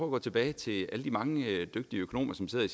at gå tilbage til alle de mange dygtige økonomer som sidder i